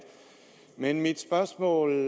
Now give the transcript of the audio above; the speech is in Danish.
men mit spørgsmål